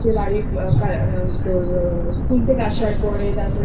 করছে বাড়ির Schoolথেকে আসার পরে